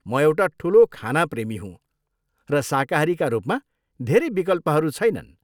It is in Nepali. म एउटा ठुलो खाना प्रेमी हुँ र शाकाहारीका रूपमा धेरै विकल्पहरू छैनन्।